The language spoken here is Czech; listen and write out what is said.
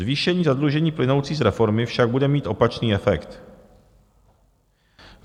Zvýšení zadlužení plynoucí z reformy však bude mít opačný efekt.